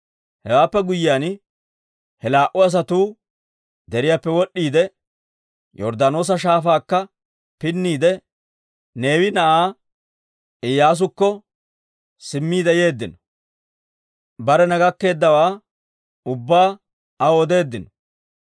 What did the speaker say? Hewaappe guyyiyaan he laa"u asatuu deriyaappe wod'd'iide, Yorddaanoosa Shaafaakka pinniide, Neewe na'aa Iyyaasukko simmiide yeeddino. Barena gakkeeddawaa ubbaa aw odeeddino.